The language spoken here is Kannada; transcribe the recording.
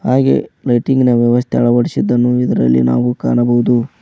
ಹಾಗೆ ಲೈಟಿಂಗ್ ನ ವ್ಯವಸ್ಥೆ ಅಳವಡಿಸಿದ್ದನ್ನು ನಾವು ಇದರಲ್ಲಿ ಕಾಣಬಹುದು.